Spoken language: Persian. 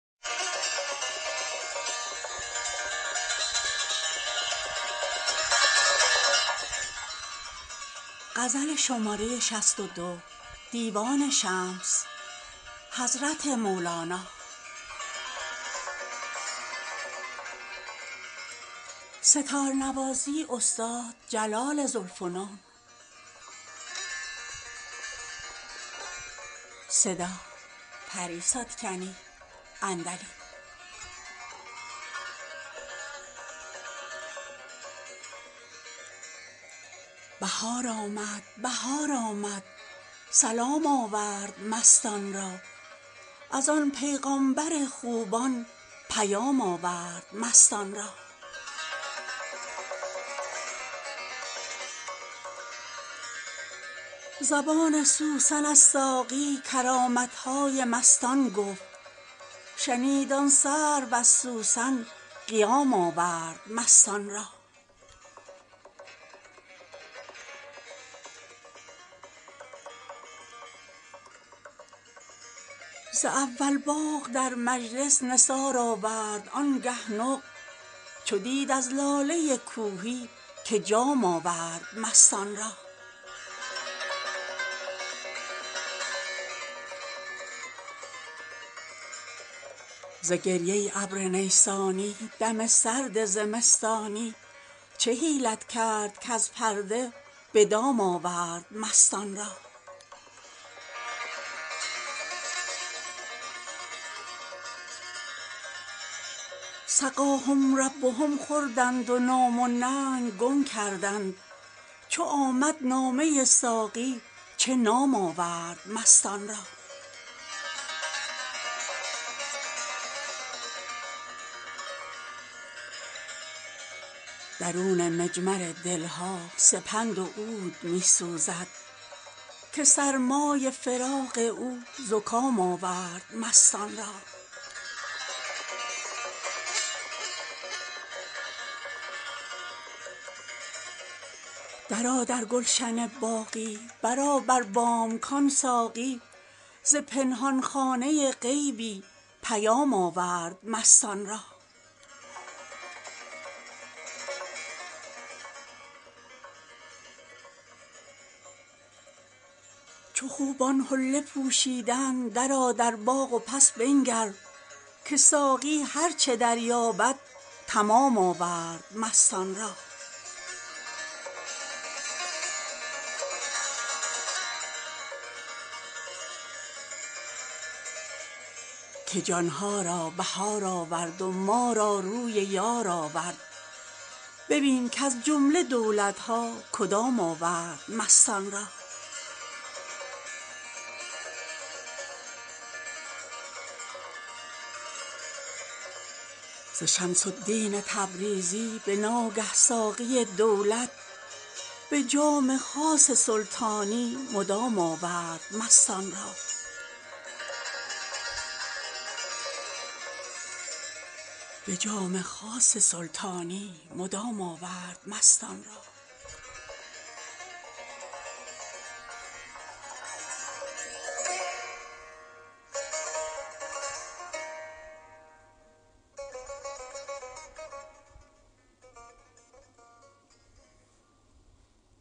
بهار آمد بهار آمد سلام آورد مستان را از آن پیغامبر خوبان پیام آورد مستان را زبان سوسن از ساقی کرامت های مستان گفت شنید آن سرو از سوسن قیام آورد مستان را ز اول باغ در مجلس نثار آورد آنگه نقل چو دید از لاله کوهی که جام آورد مستان را ز گریه ابر نیسانی دم سرد زمستانی چه حیلت کرد کز پرده به دام آورد مستان را سقاهم ربهم خوردند و نام و ننگ گم کردند چو آمد نامه ساقی چه نام آورد مستان را درون مجمر دل ها سپند و عود می سوزد که سرمای فراق او زکام آورد مستان را درآ در گلشن باقی برآ بر بام کان ساقی ز پنهان خانه غیبی پیام آورد مستان را چو خوبان حله پوشیدند درآ در باغ و پس بنگر که ساقی هر چه درباید تمام آورد مستان را که جان ها را بهار آورد و ما را روی یار آورد ببین کز جمله دولت ها کدام آورد مستان را ز شمس الدین تبریزی به ناگه ساقی دولت به جام خاص سلطانی مدام آورد مستان را